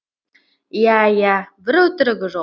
иә иә бір өтірігі жоқ